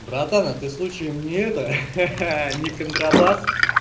братан а ты случаем не это ха-ха не контрабас